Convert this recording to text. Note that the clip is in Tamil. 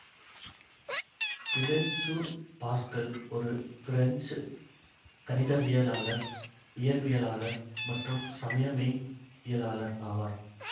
பிலைசு பாஸ்கல் ஓரு பிரெஞ்சு கணிதவியலாளர் இயற்பியலாளர் மற்றும் சமய மெய்யியலாளர் ஆவார்